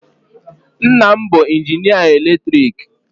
Nna m bụ injinịa eletriki.